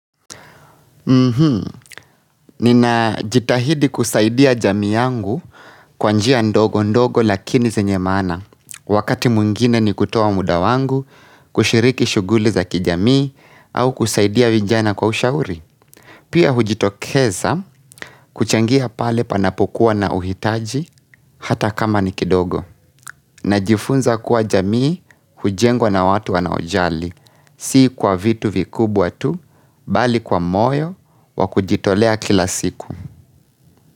Mhmm, nina jitahidi kusaidia jamii yangu kwanjia ndogo ndogo lakini zenye maana. Wakati mungine ni kutoa muda wangu, kushiriki shuguli za kijamii au kusaidia vijana kwa ushauri. Pia hujitokeza kuchangia pale panapokuwa na uhitaji hata kama nikidogo na jifunza kuwa jamii hujengwa na watu wanaojali si kwa vitu vikubwa watu bali kwa moyo wa kujitolea kila siku.